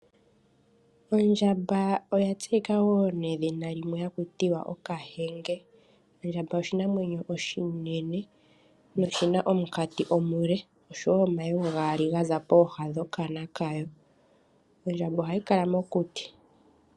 Ondjamba oyatseyika woo nedhina limwe hakutiwa okahenge. Ondjamba oshinamwenyo oshimwe oshinene, noshina omunkati omule, osho woo omayego gaali gaza pooha dhokana kayo. Ondjamba ohayi kala mokuti.